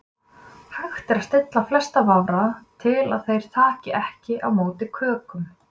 Hægt er að stilla flesta vafra til að þeir taki ekki á móti kökum.